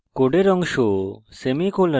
code অংশ semicolon